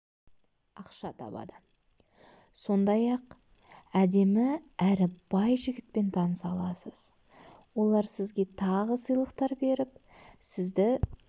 ақша табады сондай-ақ әдемі әрі бай жігітпен таныса аласыз олар сізге тағы сыйлықтар беріп сізді